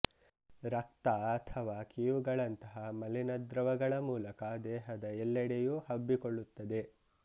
ರಕ್ತ ಅಥವಾ ಕೀವುಗಳಂತಹ ಮಲಿನ ದ್ರವಗಳ ಮೂಲಕ ದೇಹದ ಎಲ್ಲೆಡೆಯೂ ಹಬ್ಬಿಕೊಳ್ಳುತ್ತದೆ